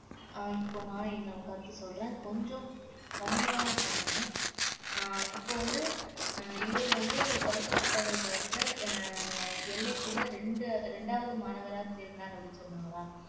அஹ் இப்ப நான் என்னோட கருத்து சொல்றேன் கொஞ்சம் கம்மியா சொல்லுங்க அஹ் இப்ப வந்து அஹ் இவர் வந்து கல்கத்தா பல்கலைக்கழகத்துல அஹ் எல்லைக்குள்ள இரண்டு இரண்டாவது மாணவரா சேர்ந்தார் அப்படின்னு சொன்னாங்களா